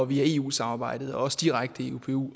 via eu samarbejdet og også direkte i upu